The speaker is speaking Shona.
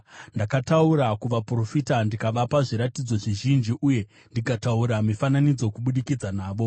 Ndakataura kuvaprofita, ndikavapa zviratidzo zvizhinji uye ndikataura mifananidzo kubudikidza navo.”